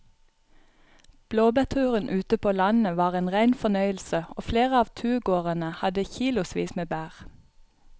Blåbærturen ute på landet var en rein fornøyelse og flere av turgåerene hadde kilosvis med bær.